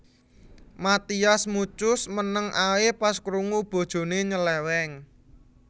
Mathias Muchus meneng ae pas krungu bojone nyeleweng